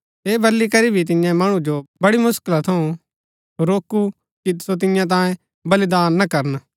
ऐह बली करी भी तिन्ये मणु जो बड़ी मुसकल थऊँ रोकू कि सो तियां तांयें बलिदान ना करन